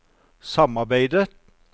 samarbeidet